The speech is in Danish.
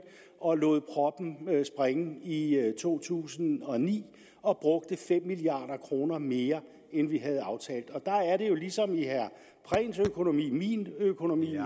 og lod proppen springe i to tusind og ni og brugte fem milliard kroner mere end vi havde aftalt og der er det jo ligesom i herre prehns økonomi i min økonomi og